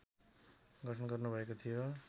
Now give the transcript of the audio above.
गठन गर्नुभएको थियो